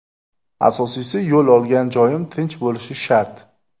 Asosiysi, yo‘l olgan joyim tinch bo‘lishi shart.